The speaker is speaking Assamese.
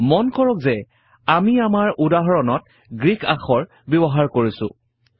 মন কৰক যে আমি আমাৰ উদাহৰণত গ্ৰীক আখৰ ব্যৱহাৰ কৰিছোঁ